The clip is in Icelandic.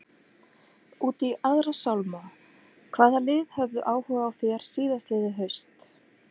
Út í aðra sálma, hvaða lið höfðu áhuga á þér síðastliðið haust?